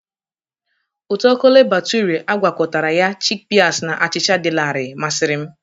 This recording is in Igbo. Ụtọ Kole Bature a gwakọtara ya, chikpịas na achịcha dị larịị masịrị m.